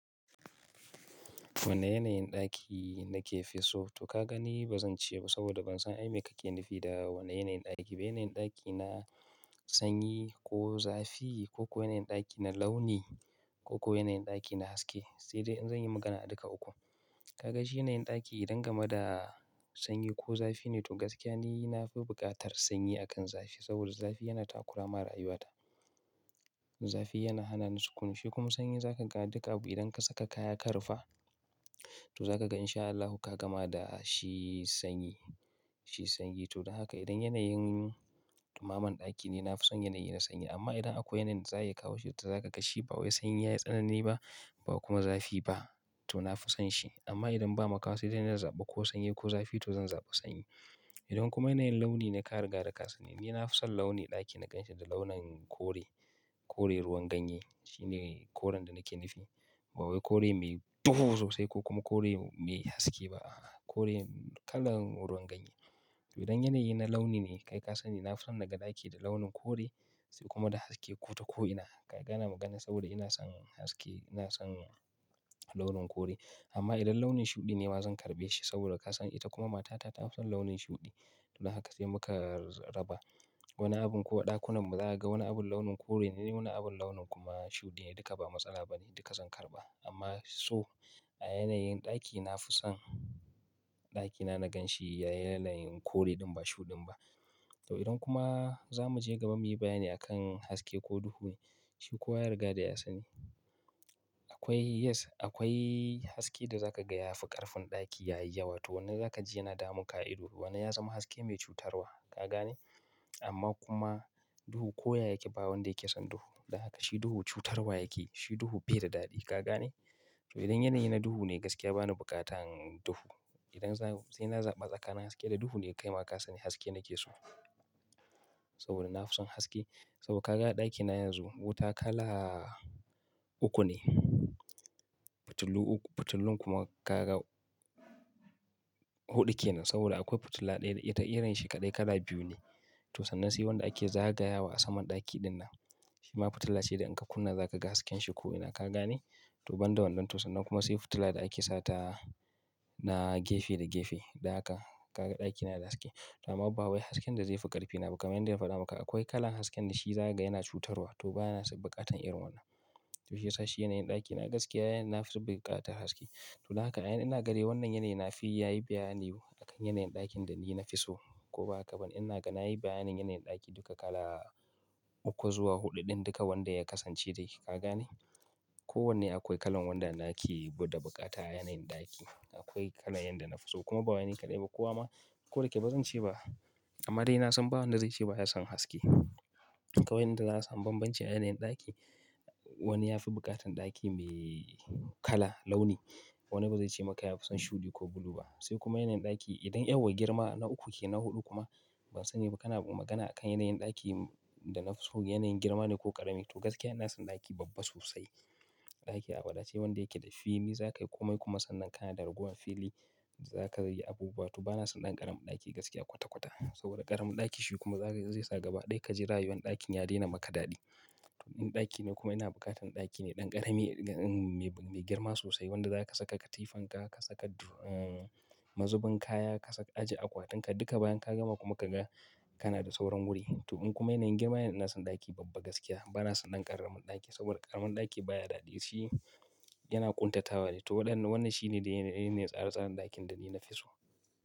Wane yanayin ɗaki nake fi so? To ka gani ba zan ce ba saboda ban san abin da kake nufi da wane yanayin ɗaki. Bai yanayin ɗaki na sanyi ko zafi ko ko yanayin ɗaki na launi ko ko yanayin ɗaki na haske. Sai dai in zanyi magana a duka uku. Ka ga shi yanayin ɗaki idan game da sanyi ko zafi ne to gaskiya ni na fi buƙatar sanyi akan zafi saboda zafi yana takura wa rayuwata. Zafi yana hana ni sukuni kuma sanyi zaka ga duka abu idan ka saka kaya ka rufe to zaka ga insha Allahi ka gama da shi sanyi, shi sanyi. To don haka idan yanayin ɗumaman ɗaki ne, na fi son yanayi na sanyi amma idan akwai yanayin za a iya kawo shi to zaka ga shi ba wai sanyi ya yi tsanani ba ba kuma zafi ba to na fi son shi. Amma idan ba makawa sai na zaɓa ko sanyi ko zafi to zan zaɓa sanyi. Idan kuma yanayin launi ne ka riga da ka sani ni na fi son launin ɗaki na ganshi da launin kore, kore ruwan ganye. Shi ne koren da nake nufi. Ba wai kore mai duhu sosai ko kuma kore mai haske ba. Kore kalan ruwan ganye. Idan yanayi na launi ne kai ka sani na fi son naga ɗaki da launin kore sai kuma da haske ko ta ko'ina. Ka gane maganar saboda ina son haske, ina son launin kore. Amma idan launin shuɗi ne ma zan karɓe shi saboda ka san ita kuma matata ta fi son launin shuɗi. Don haka sai muka raba wani abu ko ɗakunan mu za a ga wani abun launin kore ne wani abun launin kuma shuɗi ne duka ba matsala ba ne duka zan karɓa. Amma so a yanayin ɗaki na fi son ɗakina na ga shi ya yi yanayin kore ɗin ba shuɗin ba. To idan kuma za mu je gaba muyi bayani akan haske ko duhu shi kowa ya riga da ya sani. Akwai yes akwai haske da za ka gaya ya fi ƙarfin ɗaki yayi yawa to wanda za ka ji yana damun ka. A A idon wannan ya zama haske mai cutarwa, ka gane? Amma kuma duhu ko ya yake ba wanda yake son duhu. Don haka shi duhu cutarwa yake, shi duhu bai da daɗi, ka gane? To idan yanayi na duhu ne gaskiya bani buƙatan duhu. Idan sai na zaɓa tsakanin haske da duhu ne kai ma ka sani haske nake so. Saboda na fi son haske. Saboda ka ga a ɗakina yanzu wuta kala uku ne. Fitilu uku fitilun kuma ka ga huɗu ke nan saboda akwai fitila ɗaya da ita irin ta kaɗai kala biyu ne. To sannan sai wanda ake zagayawa a saman ɗaki ɗin nan. Shi ma fitila ce idan ka kunna za ka ga hasken ta a ko'ina, ka gane? To banda wannan to sannan kuma sai fitila da ake sa na gefe da gefe. Don haka ka ga ɗakina yana da haske. To amma ba wai hasken da zai fi ƙarfi na ba kamar yadda na faɗa maka akwai kalan hasken da shi zakaga yana cutarwa to ba na buƙatar irin wannan. To shi ya sa shi yanayin ɗaki na gaskiya na buƙatar haske. Don haka a yanzu ina gani wannan yanayi ina ga nayi bayani a kan yanayin ɗakin da ni na fi so ko ba haka ba ina ga na yi bayanin yanayin ɗaki duka kala uku zuwa huɗu ɗin duka wanda ya kasance dai, ka gane? Ko wanne akwai kalan wanda nake buƙata a yanayin ɗaki. Akwai kala yanayin da na fi so kuma ba wani kaɗai ba kowa ma ko da yake ba zan ce ba. Amma dai na son ba wanda zai ce ba ya son haske. Ga wanda za a san bambancin yanayin ɗaki wani ya fi buƙatan ɗaki mai kala launi wani bazai ce maka ya fi son shuɗi ko bulu ba. Sai kuma yanayin ɗaki idan girma na huɗu kuma ban sani ba kana magana akan yanayin ɗaki da na fi so yanayin girman ne ko ƙarami to gaskiya ina son ɗaki babba sosai. Ɗaki a wadace wanda yake da fili za ka yi komai kuma sannan ka na da ragowar fili zaka iya yin abubuwa. To ba na son ɗan ƙaramin ɗaki gaskiya kwata- kwata. Saboda ƙaramin ɗaki shi kuma zai sa gaba ɗaya ka ji rayuwar ɗakin ta daina yi maka daɗi. Ɗaki ne kuma ina buƙatar mai girma sosai wanda za ka saka katifarka ka saka mazubin kaya ka aje akwatinka duka bayan ka gama kuma ka ga kana da sauran wuri. To in kuma yanayin girma ne ina son ɗaki babba gaskiya ba na son ɗan ƙaramin ɗaki saboda ƙaramin ɗaki baya daɗi. Shi yana ƙuntatawa ne. To wannan shine yanayin tsare- tsaren ɗakin da ni na fi so.